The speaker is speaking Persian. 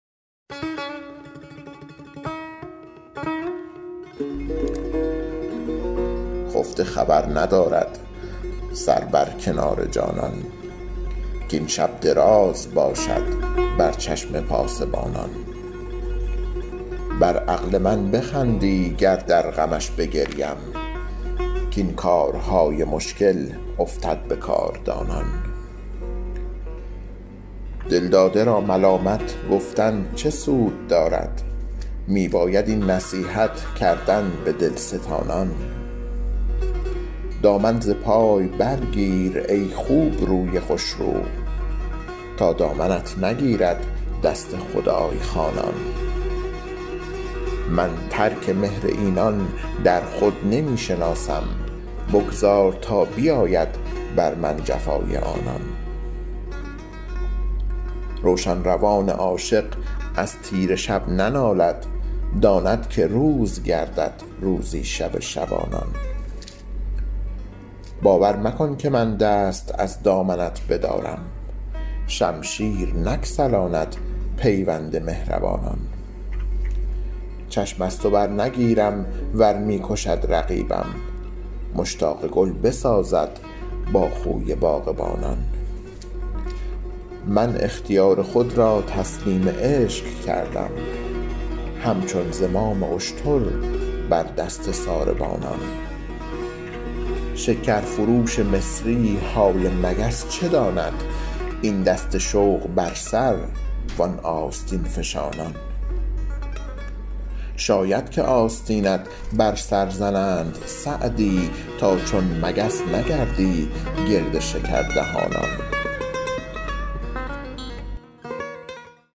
خفته خبر ندارد سر بر کنار جانان کاین شب دراز باشد بر چشم پاسبانان بر عقل من بخندی گر در غمش بگریم کاین کارهای مشکل افتد به کاردانان دلداده را ملامت گفتن چه سود دارد می باید این نصیحت کردن به دلستانان دامن ز پای برگیر ای خوبروی خوشرو تا دامنت نگیرد دست خدای خوانان من ترک مهر اینان در خود نمی شناسم بگذار تا بیاید بر من جفای آنان روشن روان عاشق از تیره شب ننالد داند که روز گردد روزی شب شبانان باور مکن که من دست از دامنت بدارم شمشیر نگسلاند پیوند مهربانان چشم از تو برنگیرم ور می کشد رقیبم مشتاق گل بسازد با خوی باغبانان من اختیار خود را تسلیم عشق کردم همچون زمام اشتر بر دست ساربانان شکرفروش مصری حال مگس چه داند این دست شوق بر سر وان آستین فشانان شاید که آستینت بر سر زنند سعدی تا چون مگس نگردی گرد شکردهانان